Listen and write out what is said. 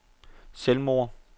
selvmord